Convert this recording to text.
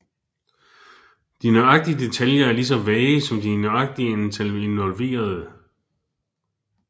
De nøjagtige detaljer er lige så vage som de nøjagtige antal involverede